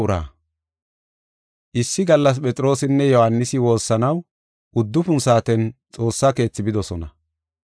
Issi gallas Phexroosinne Yohaanisi woossanaw uddufun saaten Xoossa Keethi bidosona.